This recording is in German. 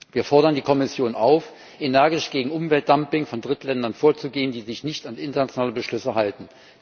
Wir fordern die Kommission auf, energisch gegen Umweltdumping von Drittländern vorzugehen, die sich nicht an internationale Beschlüsse halten.